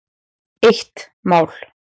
Eitt mál.